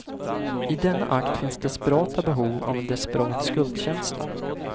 I denna akt finns desperata behov och en desperat skuldkänsla.